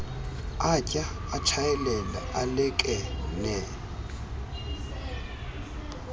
atya atshayela alekenea